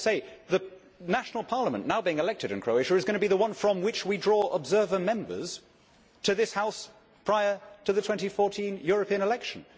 But I have to say the national parliament now being elected in Croatia is going to be the one from which we draw observer members to this House prior to the 2014 European election.